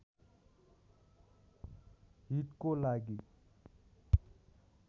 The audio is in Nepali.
हितको लागि